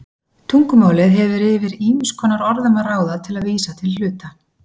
Tungumálið hefur yfir ýmiss konar orðum að ráða til að vísa til hluta.